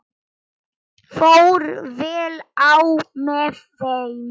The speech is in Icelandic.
Fór vel á með þeim.